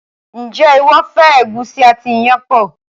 njé iwọ fẹ egusi àti iyán pọ?